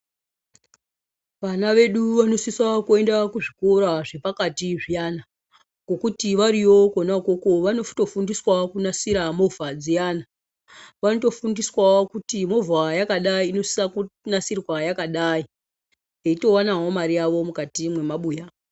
Vana vedu vanosisa kuenda kuzvikora zvepakati zviyani kuti variyo Kona ikoko vanotofundiswawo kunasira movha dziyani vanotofundiswawo kuti movha yakadai inosisa kunge yakadai veitowanawo Mari yawo mukati memabuya.